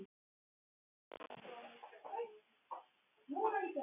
Kemur svo til hennar aftur með fingur á lofti.